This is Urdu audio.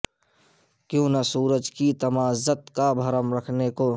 کیوں نہ سورج کی تمازت کا بھرم رکھنے کو